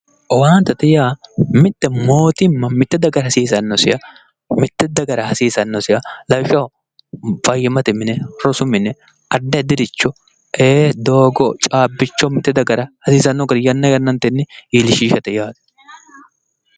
owaantete yaa mitte mootimma mitte dagara hasiissannoseha lawishshaho, fayyimmate mne rosu mine addi addiricho caabbicho mitte dagara yanna yannatenni hasiissanni garinni iillishate yaate